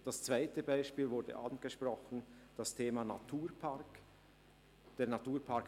Das zweite Beispiel wurde bereits angesprochen: der Naturpark Gantrisch.